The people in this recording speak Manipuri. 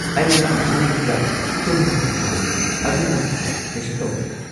ꯑꯩ ꯉꯔꯥꯡ ꯄꯨꯡ ꯈꯔ ꯇꯨꯝꯕ ꯐꯪꯍꯧꯔꯦ, ꯑꯗꯨꯅ ꯀꯩꯁꯨ ꯇꯧꯗ꯭꯭ꯔꯦ꯫